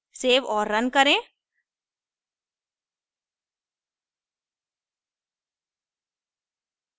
save और run करें